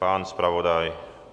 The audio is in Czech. Pan zpravodaj?